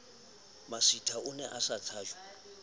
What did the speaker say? masitha o ne a tshajwa